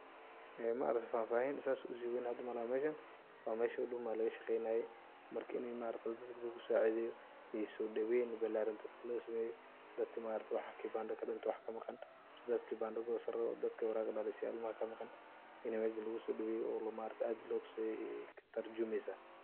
Ee maaragte fahfahin saas usiween hada malaha meshaan mesha huduma lagashaqeynaye marka inii maaragta dadka lugusacideyo iyo sodaween bilaran dadka llosameyo dadka maaragte waxa kibandaha kudume wax kamaqan mise dad kibanda gosan rawo dad waraq dhalasho ilmaha kamaqan inii mesha lugusodaweyo oo maaragte aad lotusiyo ayey katurjumeysa.